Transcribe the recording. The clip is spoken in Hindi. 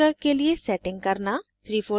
* 3fold ब्रोशर के लिए settings करना